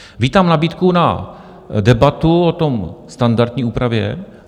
Vítám nabídku na debatu o té standardní úpravě.